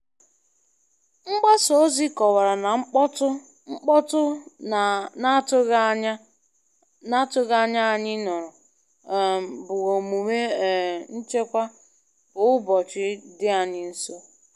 Mgbasa ozi kọwara na mkpọtụ mkpọtụ na-atụghị anya anyị nụrụ um bụ omume um nchekwa kwa ụbọchị dị anyị nso.